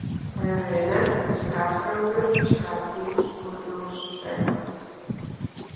Það hefur verið nefnt skarhjálmur, skarhús og ljóskæfa.